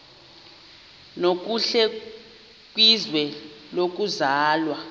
nokuhle kwizwe lokuzalwa